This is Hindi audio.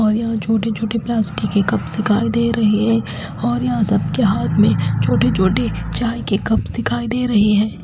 और यहां छोटे छोटे प्लास्टिक के कप्स दिखाई दे रहे हैं और यहां सब के हाथ में छोटे छोटे चाय के कप्स दिखाई दे रहे हैं।